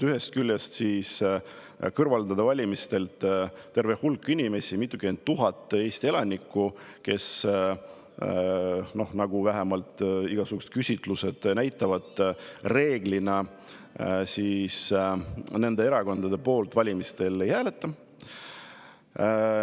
Ühest küljest kõrvaldatakse valimistelt terve hulk inimesi, mitukümmend tuhat Eesti elanikku, kes, nagu vähemalt igasugused küsitlused näitavad, valimistel reeglina nende erakondade poolt ei hääleta.